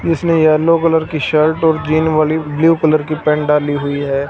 इसने yellow colour की shirt और ग्रीन वाली ब्लू कलर की पैंट डाली हुई है।